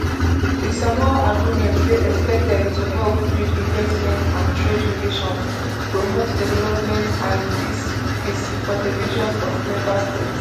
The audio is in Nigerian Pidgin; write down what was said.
di samoa agreement dey expected to help build investment and trade relations promote development and peace peace for di regions of member states